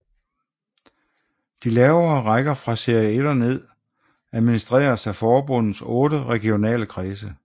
De lavere rækker fra Serie 1 og ned administreres af forbundets otte regionale kredse